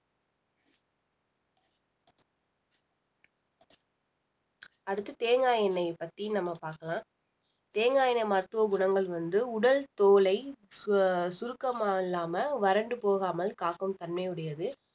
அடுத்து தேங்காய் எண்ணெயை பத்தி நம்ம பார்க்கலாம் தேங்காய் எண்ணெய் மருத்துவ குணங்கள் வந்து உடல் தோலை அஹ் சுருக்கமாக இல்லாம வறண்டு போகாமல் காக்கும் தன்மை உடையது